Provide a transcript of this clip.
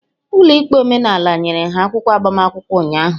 Ụlọ ikpe omenala nyere ha akwụkwọ agbamakwụkwọ ụnyaahụ.